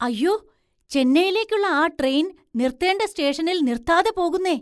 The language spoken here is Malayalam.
അയ്യോ, ചെന്നൈയിലേക്കുള്ള ആ ട്രെയിൻ നിർത്തേണ്ട സ്റ്റേഷനിൽ നിർത്താതെ പോകുന്നേ!